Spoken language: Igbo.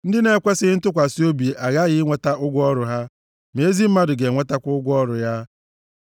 Ndị na-ekwesighị ntụkwasị obi aghaghị inweta ụgwọ ọrụ ha, ma ezi mmadụ ga-enwetakwa ụgwọ ọrụ ya.